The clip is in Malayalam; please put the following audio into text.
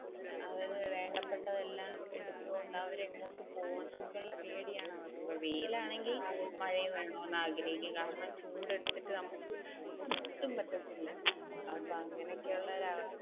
അതായത് വേണ്ടപെട്ടത് എല്ലാം എടുത്തോണ്ട് അവർ എങ്ങോട്ട് പോണം എന്നുള്ള പേടിയാണ്. അവർക്ക് ഇപ്പൊ വെയിൽ ആണെങ്കിൽ മഴയും വേണോന് ആഗ്രഹിക്കും കാരണം ചൂടെടുത്തിട്ട് നമുക്ക് ഒട്ടും പറ്റത്തില്ല, അപ്പൊ അങ്ങനെയൊക്കെ ഉള്ള ഒരു